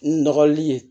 N nɔgɔli ye